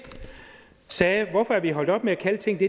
sagde hvorfor er vi holdt op med at kalde ting det